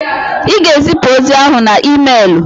Ị ga-ezipụ ozi ahụ na emeelụ!